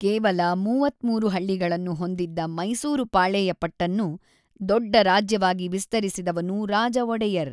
ಕೇವಲ ೩೩ ಹಳ್ಳಿಗಳನ್ನು ಹೊಂದಿದ್ದ ಮೈಸೂರು ಪಾಳೆಯಪಟ್ಟನ್ನು ದೊಡ್ಡ ರಾಜ್ಯವಾಗಿ ವಿಸ್ತರಿಸಿದವನು ರಾಜಒಡೆಯರ್.